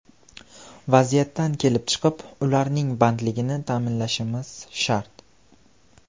Vaziyatdan kelib chiqib, ularning bandligini ta’minlashimiz shart.